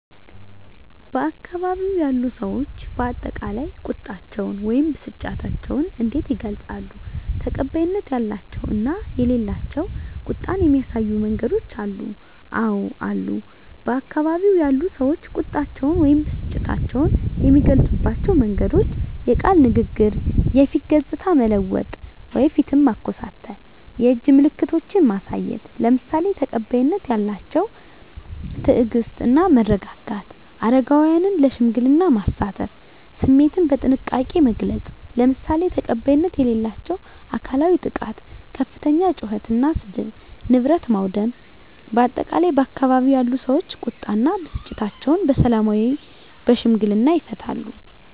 በአካባቢው ያሉ ሰዎች በአጠቃላይ ቁጣቸውን ወይም ብስጭታቸውን እንዴት ይገልጻሉ? ተቀባይነት ያላቸው እና የሌላቸው ቁጣን የሚያሳዩ መንገዶች አሉ? *አወ አሉ፦ በአካባቢው ያሉ ሰዎች ቁጣቸውን ወይም ብስጭታቸውን የሚገልጹባቸው መንገዶች፦ * የቃል ንግግር *የፊት ገጽታን መለወጥ (ፊትን ማኮሳተር)፣ *የእጅ ምልክቶችን ማሳየት፣ **ለምሳሌ፦ ተቀባይነት ያላቸው * ትዕግስት እና መረጋጋት: * አረጋውያንን ለሽምግልና ማሳተፍ።: * ስሜትን በጥንቃቄ መግለጽ: **ለምሳሌ፦ ተቀባይነት የሌላቸው * አካላዊ ጥቃት * ከፍተኛ ጩኸት እና ስድብ: * ንብረት ማውደም: በአጠቃላይ፣ ባካባቢው ያሉ ሰዎች ቁጣ እና ብስጭታቸውን በሰላማዊና በሽምግልና ይፈታሉ።